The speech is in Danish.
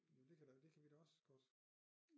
Jo det kan da det kan vi da også godt